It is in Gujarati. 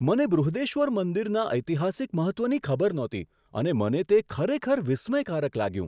મને બૃહદેશ્વર મંદિરના ઐતિહાસિક મહત્ત્વની ખબર નહોતી અને મને તે ખરેખર વિસ્મયકારક લાગ્યું.